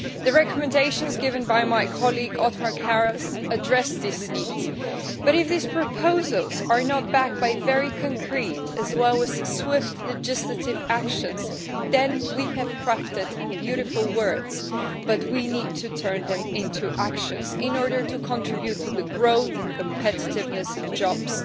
The recommendations given by my colleague, Othmar Karas, address this need but, if these proposals are not backed by very concrete as well as swift legislative actions, then we have crafted beautiful words but we need to turn them into actions in order to contribute to growth and competitiveness and jobs.